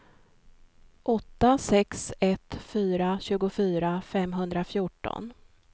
åtta sex ett fyra tjugofyra femhundrafjorton